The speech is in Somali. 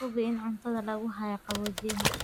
Hubi in cuntada lagu hayo qaboojiyaha.